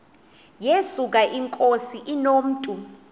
yesuka inkosi inomntu